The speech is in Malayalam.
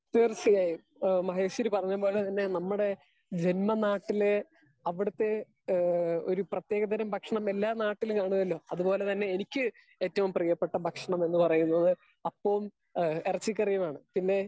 സ്പീക്കർ 2 തീർച്ചയായും മഹേഷ്വരി പറഞ്ഞത് പോലെ തന്നെ നമ്മുടെ ജന്മ നാട്ടിലെ അവിടെത്തെ ഹേ ഒര് പ്രേതെകതരം ഭക്ഷണം എല്ലാ നാട്ടിലും കാണോല്ലോ അത് പോലെ തന്നെ എനിക്ക് ഏറ്റവും പ്രിയപ്പെട്ട ഭക്ഷണം എന്ന് പറയുന്നത് അപ്പവും ഇറച്ചി കറിയുമാണ് പിന്നെ